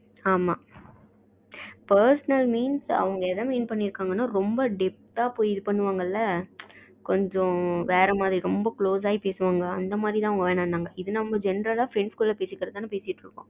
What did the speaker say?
ஆமா pesonal means அவங்க என்ன mean பன்னிருக்கங்கனா ரொம்ப depth ஆ இது பண்ணுவாங்க இல்ல கொஞ்சம் வேற மாரி ரொம்ப close ஆகி அந்த மாரி வேணாம்னு சொன்னங்க